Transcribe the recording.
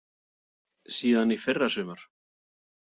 Síðan í fyrra sumar.